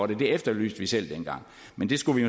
det det efterlyste vi selv dengang men det skulle vi